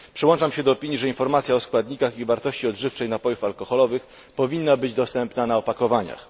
Przyłączam się do opinii, że informacja o składnikach i wartości odżywczej napojów alkoholowych powinna być dostępna na opakowaniach.